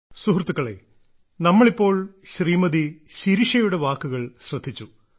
സുഹൃത്തുക്കളേ നമ്മൾ ഇപ്പോൾ ശ്രീമതി ശിരിഷയുടെ വാക്കുകൾ ശ്രദ്ധിച്ചു